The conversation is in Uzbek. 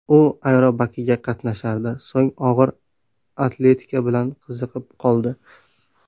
U aerobikaga qatnashardi, so‘ng og‘ir atletika bilan qiziqib qoldi.